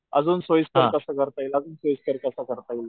अजून सोयीस्कर कस करता येईल अजून सोयीस्कर कस करता येईल.